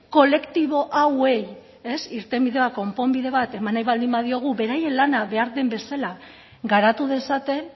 kolektibo hauei irtenbidea konponbide bat eman nahi baldin badiegu beraien lana behar den bezala garatu dezaten